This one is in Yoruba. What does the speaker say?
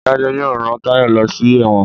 adajo yóò rán Tayo ló sí èwòn.